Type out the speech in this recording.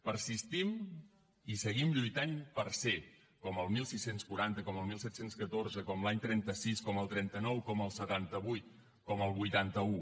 persistim i seguim lluitant per ser com al setze quaranta com al disset deu quatre com l’any trenta sis com al trenta nou com al setanta vuit com al vuitanta un